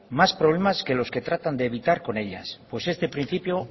más problemas que los que tratan de evitar con ellas pues este principio